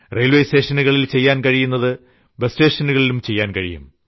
railway സ്റ്റേഷനുകളിൽ ചെയ്യാൻ കഴിയുന്നത് ബസ് സ്റ്റേഷനുകളിലും ചെയ്യാൻ കഴിയും